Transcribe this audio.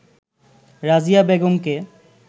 রাজিয়া বেগমকে